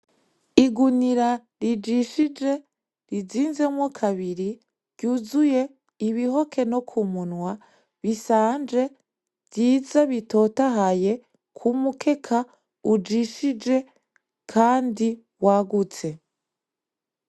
Igunira rijishije rizinzemwo kabiri , ryuzuye ibihoke no kumunwa bisanje , vyiza bitotahaye kumukeka ujishije Kandi wagutse .